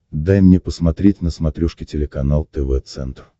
дай мне посмотреть на смотрешке телеканал тв центр